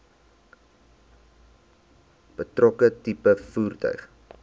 betrokke tipe voertuig